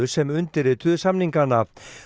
sem undirrituðu samningana